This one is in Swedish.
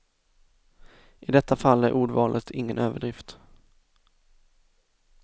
I detta fall är ordvalet ingen överdrift.